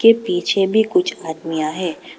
ये पीछे भी कुछ आदमियां है।